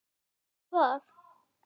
Varstu það?